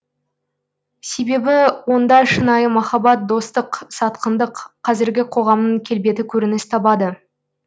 себебі онда шынайы махаббат достық сатқындық қазіргі қоғамның келбеті көрініс табады